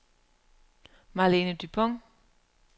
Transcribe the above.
Marlene Dupont